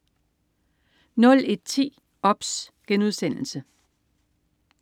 01.10 OBS*